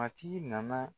Matigi nana